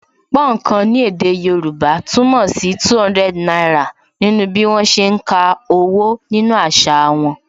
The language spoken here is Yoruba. Púnǹkan ni èdè Yorùbá túmọ̀ sí 200 náírà nínú bí wọn ṣe ń ka owó nínú àṣà wọn